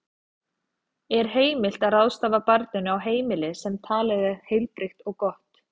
Er heimilt að ráðstafa barninu á heimili sem talið er heilbrigt og gott?